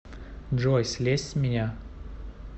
джой слезь с меня